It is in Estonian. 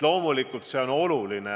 Loomulikult on see oluline.